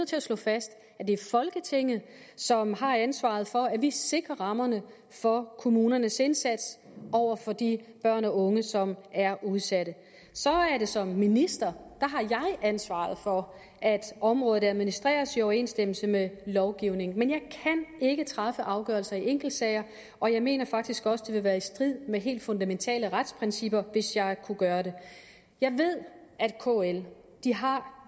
til at slå fast at det er folketinget som har ansvaret for at vi sikrer rammerne for kommunernes indsats over for de børn og unge som er udsatte så har jeg som minister ansvaret for at området administreres i overensstemmelse med lovgivningen men jeg kan ikke træffe afgørelser i enkeltsager og jeg mener faktisk også det vil være i strid med helt fundamentale retsprincipper hvis jeg kunne gøre det jeg ved at kl har